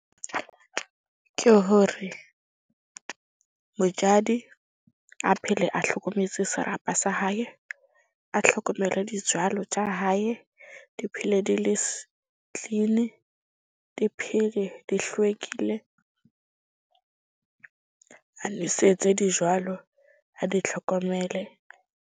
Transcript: Ke hore mojadi a phele a hlokometse serapa sa hae. A hlokomele tsa hae. Di phele di le clean-i, di phele di hlwekile. A nwesetse a di tlhokomele.